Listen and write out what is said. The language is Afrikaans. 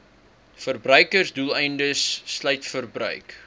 verbruiksdoeleindes sluit verbruik